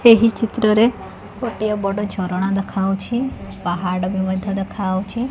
ଏହି ଚିତ୍ର ରେ ଗୋଟିଏ ବଡ ଝରଣା ଦେଖାହଉଛି ପାହାଡ଼ ବି ମଧ୍ୟ ଦେଖାହଉଛି।